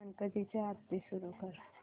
गणपती ची आरती सुरू कर